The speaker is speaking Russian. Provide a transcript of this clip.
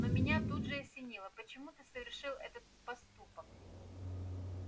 но меня тут же осенило почему ты совершил этот поступок